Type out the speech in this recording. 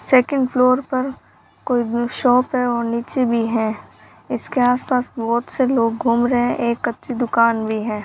Second floor पर कोई shop है और नीचे भी हैं इसके आसपास बहोत से लोग घूम रहे हैं एक कच्ची दुकान भी है।